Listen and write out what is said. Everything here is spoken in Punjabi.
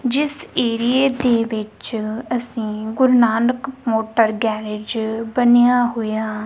ਜਿੱਸ ਏਰੀਏ ਦੇ ਵਿੱਚ ਅੱਸੀਂ ਗੁਰੂਨਾਨਕ ਮੋਟਰ ਗੈਰੇਜ ਬਣਿਆ ਹੋਇਆ।